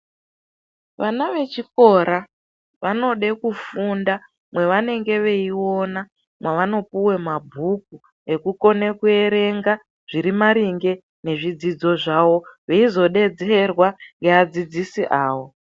Vana vechikora vanode kufunda kwawanenge weiona kwawanopuwa mabhuku ekukona kuerenga zviri maringe nezvidzidzo zvawo veizodedzerwa ngeadzidzisi awo.